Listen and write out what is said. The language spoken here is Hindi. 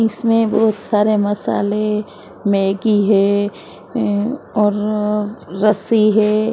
इसमें बहुत सारे मसाले मैगी है और रस्सी है।